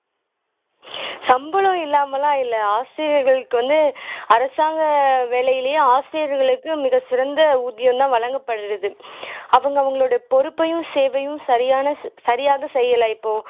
சம்பளம் இல்லாம எல்லாம் இல்லை ஆசிரியர்களுக்கு வந்து அரசாங்க வேலையிலேயே ஆசிரியர்களுக்கு மிகசிறந்த ஊதியம்தான் வழங்கப்படுது அவங்க அவங்களோட பொறுப்பையும் சேவையும் சரியான சரியாக செய்யல இப்போ